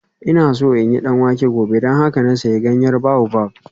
Ina so in yi danwake gobe don haka na sayi ganyen baobab